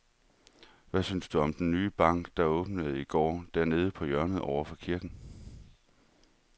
Hvad synes du om den nye bank, der åbnede i går dernede på hjørnet over for kirken?